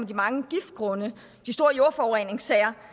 de mange giftgrunde de store jordforureningssager